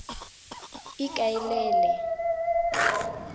ikaelele